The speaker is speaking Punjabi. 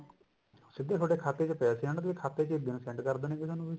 ਸਿੱਧਾ ਥੋਡੇ ਖਾਤੇ ਚ ਪੈਸੇ ਆਨਗੇ ਖਾਤੇ ਚ ਹੀ ਬਿਲ send ਕਰ ਦੇਣਗੇ ਤੁਹਾਨੂੰ